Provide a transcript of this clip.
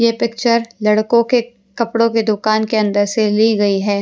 ये पिक्चर लड़कों के कपड़ों की दुकान के अंदर से ली गई है।